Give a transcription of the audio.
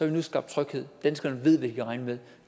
vi nu skabt tryghed danskerne ved hvad de kan regne med